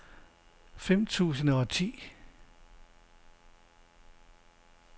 fem tusind og ti